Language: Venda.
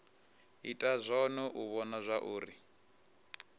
ita zwone u vhona zwauri